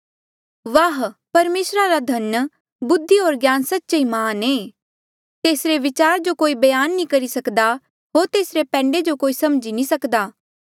वाह परमेसरा रा धन बुद्धि होर ज्ञान सच्चे ई महान ऐें तेसरे विचार जो कोई बयान नी करी सकदा होर तेसरे पैंडे जो कोई नी समझी सकदा